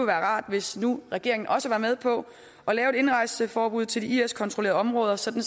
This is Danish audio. rart hvis regeringen også var med på at lave et indrejseforbud til de is kontrollerede områder sådan